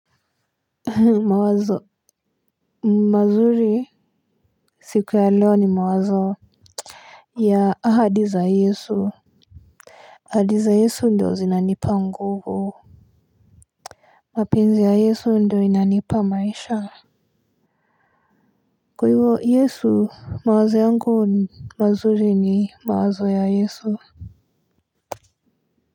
Mawazo mazuri siku ya leo ni mawazo ya ahadi za Yesu. Ahadi za Yesu ndio zinanipa nguvu mapenzi ya Yesu ndio inanipa maisha kwa hivo yesu mawazo yangu mazuri ni mawazo ya yesu.